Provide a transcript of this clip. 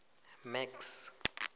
max